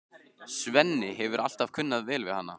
Svenni hefur alltaf kunnað vel við hana.